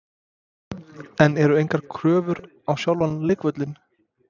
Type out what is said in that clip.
En eru engar kröfur á sjálfan leikvöllinn?